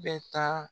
Bɛ taa